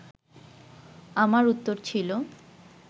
আমার উত্তর ছিল